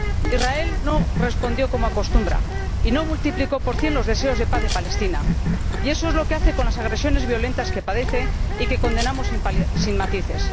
Israel no respondió —como acostumbra— y no multiplicó por cien los deseos de paz de Palestina, y eso es lo que hace con las agresiones violentas que padece y que condenamos sin matices.